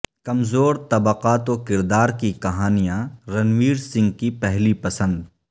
کمزور طبقات و کردار کی کہانیاں رنویر سنگھ کی پہلی پسند